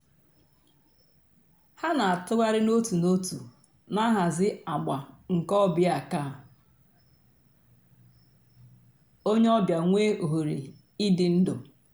hà nà-àtụ̀ghàrì n'òtù n'òtù nà-àhàzì àgbà nke ò bịa kà ònyè ọ̀ bịa nwee òhèrè ídù ndú.